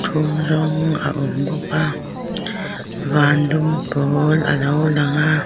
thum rawng a awm bawka van dum pawl alo langa.